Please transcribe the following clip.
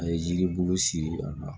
A ye yiri bulu siri a la